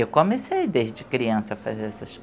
Eu comecei desde criança a fazer essas